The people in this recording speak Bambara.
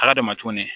Ala dama tuguni